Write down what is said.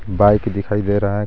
Bike दिखाई दे रहा है.